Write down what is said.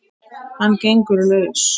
Og hann gengur laus!